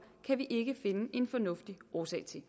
kan vi ikke finde en fornuftig årsag til